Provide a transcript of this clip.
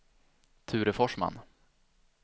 Ture Forsman